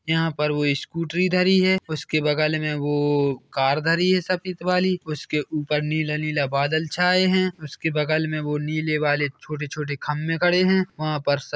यहां पर वो ईस्क्रूट्री धरी है उसके बगल में वोओ कार धरी है सफेदवाली उसके ऊपर नीला -नीला बादल छाए है उसके बगल में वो नीले वाले छोटे -छोटे खम्भे खड़े है वहा पर--